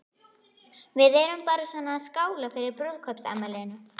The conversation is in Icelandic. Við erum bara svona að skála fyrir brúðkaupsafmælinu.